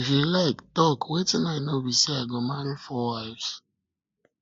if you like talk wetin i know be say i go marry 4 wives